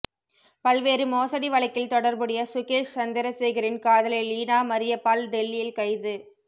பல்வேறு மோசடி வழக்கில் தொடர்புடைய சுகேஷ் சந்திரசேகரின் காதலி லீனா மரிய பால் டெல்லியி்ல் கைது